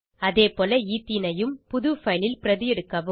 அதேபோல எத்தீனையும் புது பைல் ல் பிரதி எடுக்கவும்